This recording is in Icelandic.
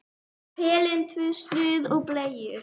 Pelinn, tvö snuð og bleiur.